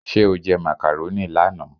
Ṣé o jẹ macaroni lánàá?